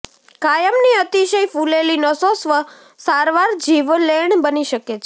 કાયમની અતિશય ફૂલેલી નસો સ્વ સારવાર જીવલેણ બની શકે છે